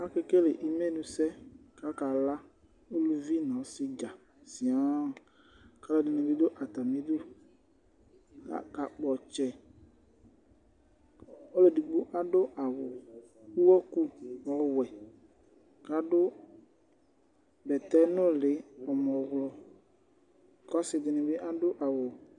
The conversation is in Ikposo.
Akekele imenu sɛ , kakala Uluvi nu ɔsi dza siaa kʋ ɔlɔdini bi dʋ atamiduAkakpɔ ɔtsɛƆlu edigbo adʋ awu ʋwɔku ɔwɛKadʋ bɛtɛ nuli ɔɣlɔmɔKɔsidini bi adʋ awu